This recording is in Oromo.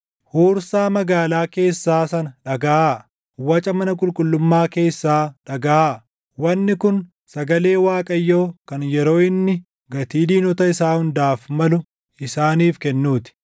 Huursaa magaalaa keessaa sana dhagaʼaa; waca mana qulqullummaa keessaa dhagaʼaa! Wanni kun sagalee Waaqayyoo kan yeroo inni gatii diinota isaa hundaaf malu isaaniif kennuu ti.